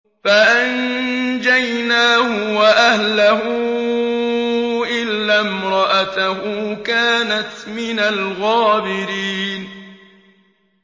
فَأَنجَيْنَاهُ وَأَهْلَهُ إِلَّا امْرَأَتَهُ كَانَتْ مِنَ الْغَابِرِينَ